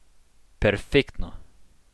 Perfektno.